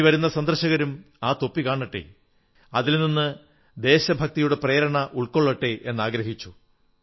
ഇനി വരുന്ന സന്ദർശകരും ആ തൊപ്പി കാണട്ടെ അതിൽ നിന്ന് ദേശഭക്തിയുടെ പ്രേരണ ഉൾക്കൊള്ളട്ടെ എന്നാഗ്രഹിച്ചു